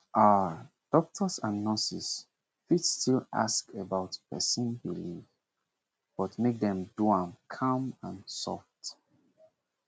ah doctors and nurses fit still ask about person belief but make dem do am calm and soft